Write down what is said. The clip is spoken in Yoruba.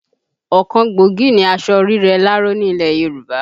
Ọ̀kan gbòógì ni aṣọ rírẹ láró ni ilẹ̀ Yorùbá